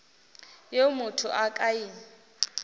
yeo motho a ka e